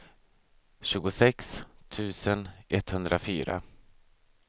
tjugosex tusen etthundrafyra